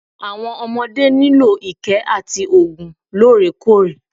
Àwọn ọmodé nílò ìkẹ́ àti oògùn lóòrèkóòrè.